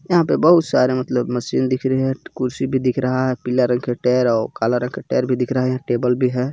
यहां पर बहुत सारे मतलब मशीन दिख रही है कुर्सी भी दिख रहा है पीला रंग का टेर ओर काला रंग का टेर भी दिख रहा है टेबल भी है.